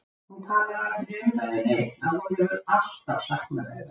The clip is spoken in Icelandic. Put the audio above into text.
Hún talar aldrei um það við neinn að hún hefur alltaf saknað þeirra.